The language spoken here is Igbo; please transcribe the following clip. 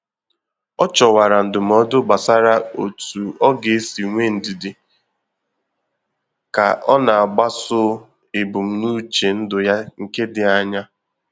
Ọ chọwara ndụmọdụ gbasara otu ọ ga-esi nwee ndidi ka ọ na-agbaso ebumnuche ndụ ya nke dị anya